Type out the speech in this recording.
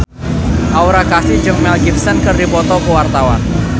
Aura Kasih jeung Mel Gibson keur dipoto ku wartawan